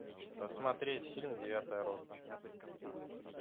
посмотреть фильм девятая рота